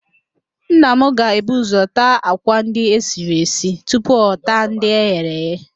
Nna m ga-ebu ụzọ taa àkwá ndị esiri esi tupu ọ taa ndị eghere eghe